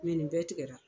nin bɛɛ tigɛra